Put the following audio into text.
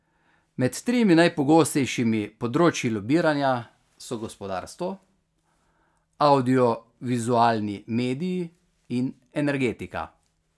Med tremi najpogostejšimi področji lobiranja so gospodarstvo, avdiovizualni mediji in energetika.